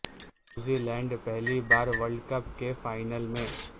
New Zealand پہلی بار world cup کے فائنل میں